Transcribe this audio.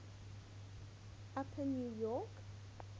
upper new york